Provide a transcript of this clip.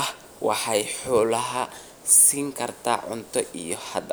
ah, waxa ay xoolaha siin kartaa cunto iyo hadh.